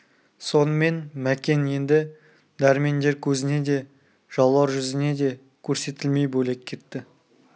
сонымен мәкен енді дәрмендер көзіне де жаулар жүзіне де көрсетілмей бөлек кетті